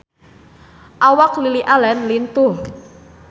Awak Lily Allen lintuh